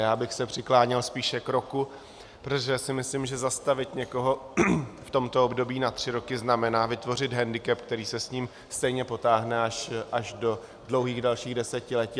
Já bych se přikláněl spíše k roku, protože si myslím, že zastavit někoho v tomto období na tři roky znamená vytvořit hendikep, který se s ním stejně potáhne až do dlouhých dalších desetiletí.